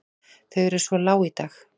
Þau eru svo lág í dag.